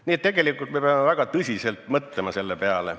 Nii et tegelikult me peame väga tõsiselt mõtlema selle peale ...